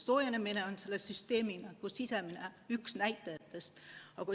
Soojenemine on vaid üks selle süsteemi sisemistest näitajatest.